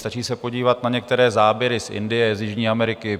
Stačí se podívat na některé záběry z Indie, z jižní Ameriky.